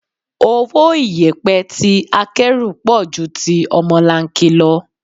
Owó iyẹpẹ tí akẹ́rù pọ̀ ju ti ọmọlanke lọ.